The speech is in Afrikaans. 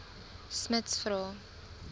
smuts vra